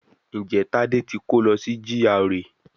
Ǹjẹ́ Tádé ti kó lọ sí GRA